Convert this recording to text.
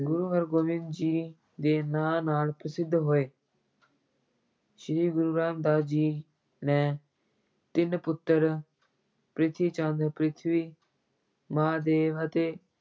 ਗੁਰੂ ਹਰਗੋਬਿੰਦ ਜੀ ਦੇ ਨਾਂ ਨਾਲ ਪ੍ਰਸਿੱਧ ਹੋਏ ਸ੍ਰੀ ਗੁਰੂ ਰਾਮਦਾਸ ਜੀ ਨੇ ਤਿੰਨ ਪੁੱਤਰ ਪਿਰਥੀਚੰਦ ਪ੍ਰਿਥਵੀ, ਮਹਾਂਦੇਵ ਅਤੇ